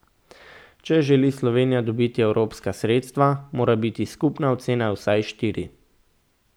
Če želi Slovenija dobiti evropska sredstva, mora biti skupna ocena vsaj štiri.